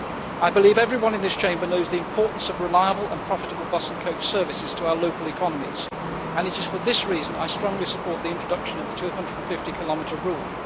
I believe everyone in this Chamber knows the importance of reliable and profitable bus and coach services to our local economies, and it is for this reason that I strongly support the introduction of the 250 km rule.